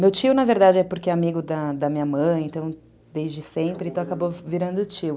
Meu tio, na verdade, é porque é amigo da da minha mãe, então, desde sempre, acabou virando tio.